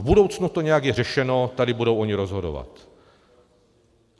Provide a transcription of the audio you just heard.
V budoucnu to nějak je řešeno, tady budou oni rozhodovat.